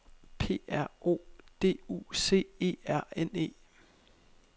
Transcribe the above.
P R O D U C E R N E